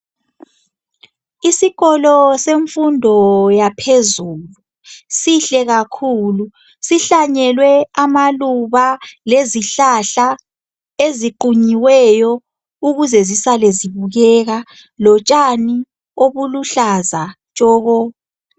Isikolo semfundo yaphezulu sihle kakhulu sihlanyelwe amaluba lezihlahla eziqunyiweyo ukuze zisale zibukeka lotshani obuluhlaza tshoko.